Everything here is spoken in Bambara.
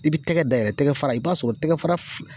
I b'i tɛgɛ dayɛlɛ tɛgɛ fara i b'a sɔrɔ tɛgɛ fara